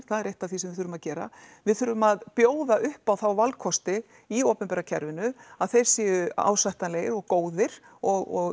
það er eitt af því sem við þurfum að gera við þurfum að bjóða uppá þá valkosti í opinbera kerfinu að þeir séu ásættanlegir og góðir og